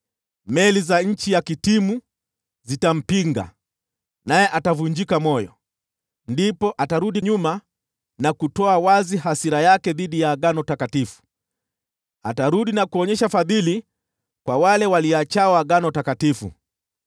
Meli za nchi ya Kitimu zitampinga, naye atavunjika moyo. Ndipo atarudi nyuma na kutoa wazi hasira yake dhidi ya agano takatifu. Atarudi na kuonyesha fadhili kwa wale waliachao agano takatifu.